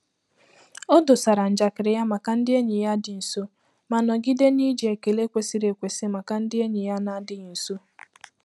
O dosara njakịrị ya maka ndị enyi ya dị nso ma nọgide n'iji ekele kwesiri ekwesi maka ndị enyi ya na-adịghị nso.